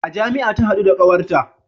A jami'a ta hadu da kawarta